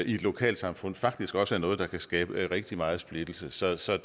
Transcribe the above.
et lokalsamfund faktisk også er noget der kan skabe rigtig meget splittelse så så